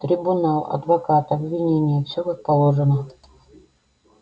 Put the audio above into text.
трибунал адвокат обвинение всё как положено